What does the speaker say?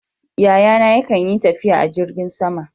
Yayana yakan yi tafiya a jirgin sama.